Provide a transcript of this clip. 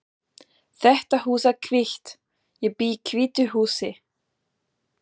Þetta hús er hvítt. Ég bý í hvítu húsi.